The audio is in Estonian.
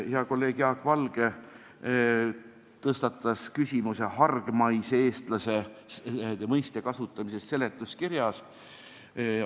Hea kolleeg Jaak Valge tõstatas küsimuse hargmaise eestlase mõiste kasutamisest seletuskirjas.